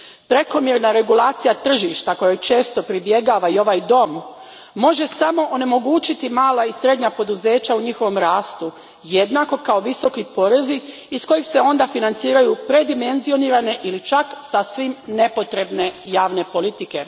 Prekomjerna regulacija tržišta kojoj često pribjegava i ovaj dom može samo onemogućiti mala i srednja poduzeća u njihovom rastu, jednako kao visoki porezi iz kojih se onda financiraju predimenzionirane ili čak sasvim nepotrebne javne politike.